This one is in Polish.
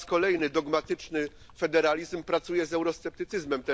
Po raz kolejny dogmatyczny federalizm współpracuje z eurosceptycyzmem.